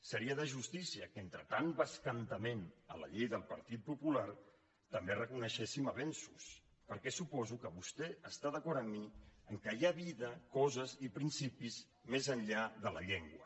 seria de justícia que entre tant bescantament de la llei del partit popular també reconeguéssim avenços perquè suposo que vostè està d’acord amb mi que hi ha vida coses i principis més enllà de la llengua